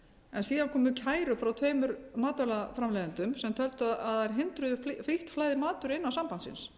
en síðan komu kærur frá tveimur matvælaframleiðendum sem töldu að þær hindruðu beint flæði matvöru innan sambandsins